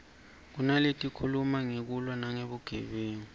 kunaletikhuluma ngekulwa nebugebengu